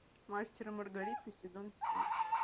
мастер и маргарита сезон семь